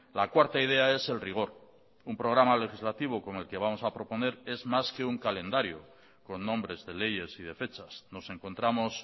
la cuarta idea es el rigor un programa legislativo como el que vamos a proponer es más que un calendario con nombres de leyes y de fechas nos encontramos